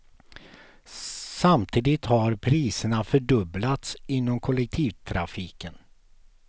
Samtidigt har priserna fördubblats inom kollektivtrafiken.